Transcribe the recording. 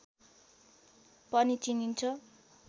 पनि चिनिन्छ